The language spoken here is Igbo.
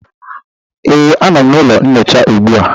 Ee, a nọ m n'ụlọ nyocha ugbu a